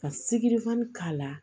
Ka siki fana k'a la